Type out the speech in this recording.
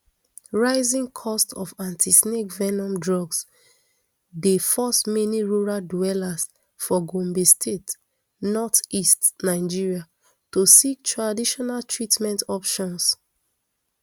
rising costs of antisnake venom drugs dey force many rural dwellers for gombe state northeast nigeria to seek traditional treatment options